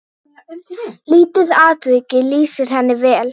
Lítið atvik lýsir henni vel.